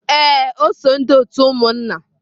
Ee, o so umunna otu.